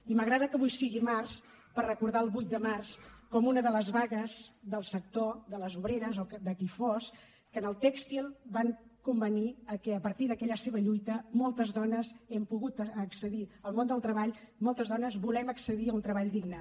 i m’agrada que avui sigui març per recordar el vuit de març com una de les vagues del sector de les obreres o de qui fos que en el tèxtil van convenir que a partir d’aquella seva lluita moltes dones hem pogut accedir al món del treball moltes dones volem accedir a un treball digne